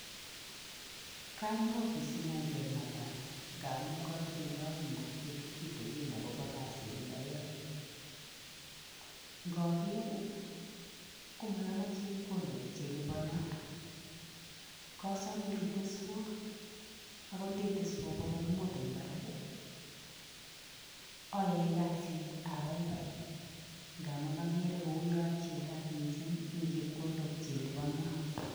Kanyo ofisingung kengalal ngamun katinye kaimutiet kitikin akobo kazini ayoe, ngoker ii komayomo chepkondok che lipono, kasome iteswa angot nde teswa bokol mut eng barak ii, ayoe kasit ababai ngamun akere kouyo achilat mising eng chepkondok che lipono.